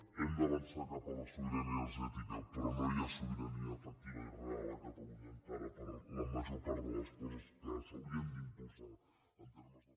hem d’avançar cap a la sobirania energètica però no hi ha sobirania efectiva i real a catalunya encara per a la major part de les coses que s’haurien d’impulsar en termes de